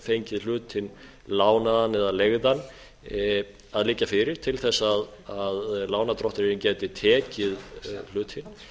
fengið hlutinn lánaðan eða leigðan að liggja fyrir til að lánardrottinn gæti tekið hlutinn